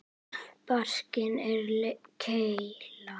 Barkinn er keila.